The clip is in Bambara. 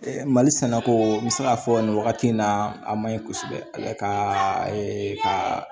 mali sɛnɛko n bɛ se k'a fɔ nin wagati in na a ma ɲi kosɛbɛ ale ka